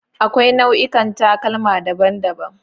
Akwai nau'ikan takalma daban-daban.